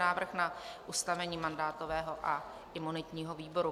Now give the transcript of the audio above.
Návrh na ustavení mandátového a imunitního výboru